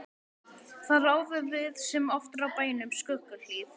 Þar áðum við sem oftar á bænum Skuggahlíð.